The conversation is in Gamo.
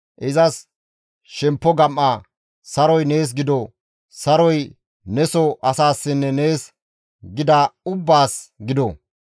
Izas, ‹Shemppo gam7a! Saroy nees gido; saroy neso asaassinne nees gidida ubbaas gido.